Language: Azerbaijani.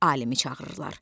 Alimi çağırırlar.